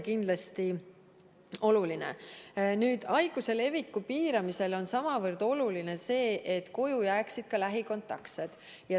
Haiguse leviku piiramise mõttes on sama oluline see, et koju jääksid lähikontaktsed.